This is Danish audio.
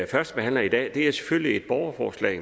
førstebehandler i dag er selvfølgelig et borgerforslag